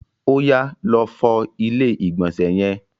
Oyà, lọ fọ ilé ìgbọ̀nsẹ̀ yẹn!